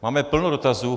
Máme plno dotazů.